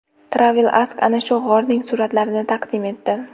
TravelAsk ana shu g‘orning suratlarini taqdim etdi .